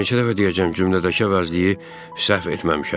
Daha neçə dəfə deyəcəm cümlədəki əvəzliyi səhv etməmişəm.